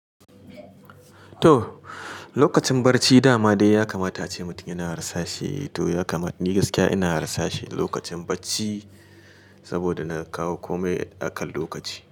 To, lokacin barci dama dai ya kamata ace mutum yana rasa shi to ya kama ni gaskiya ina rasa shi lokacin bacci saboda na kawo komai akan lokaci.